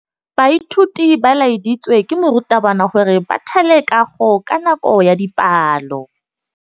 Baithuti ba laeditswe ke morutabana gore ba thale kagô ka nako ya dipalô.